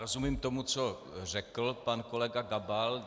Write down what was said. Rozumím tomu, co řekl pan kolega Gabal.